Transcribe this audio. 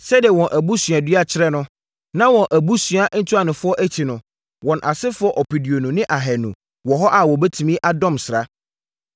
Sɛdeɛ na wɔn abusuadua kyerɛ no, na wɔn abusua ntuanofoɔ akyi no, wɔn asefoɔ ɔpeduonu ne ahanu (20,200) wɔ hɔ a wɔtumi dɔm sraa.